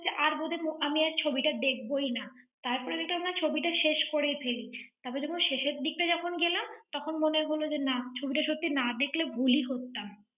আর বোধহয় আম~ আমি আর ছবিটা দেখবই না। তারপরে দেখলাম, না ছবিটা শেষ করেই ফেলি। তারপর যখন শেষের দিকটা যখন গেলাম, তখন মনে হলো যে নাম ছবিটা সত্যি না দেখলে ভুলই করতাম।